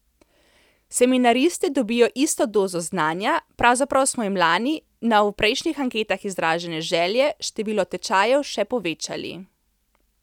Seminaristi dobijo isto dozo znanja, pravzaprav smo jim lani, na v prejšnjih anketah izražene želje, število tečajev še povečali.